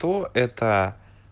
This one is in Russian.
то это